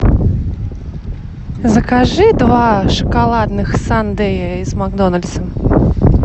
закажи два шоколадных сандея из макдональдса